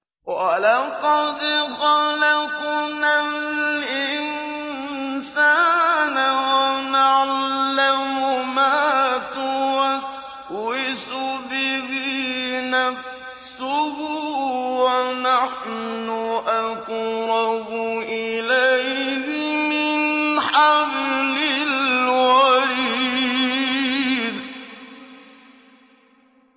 وَلَقَدْ خَلَقْنَا الْإِنسَانَ وَنَعْلَمُ مَا تُوَسْوِسُ بِهِ نَفْسُهُ ۖ وَنَحْنُ أَقْرَبُ إِلَيْهِ مِنْ حَبْلِ الْوَرِيدِ